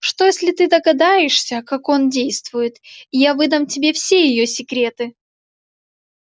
что если ты догадаешься как он действует и я выдам тебе все её секреты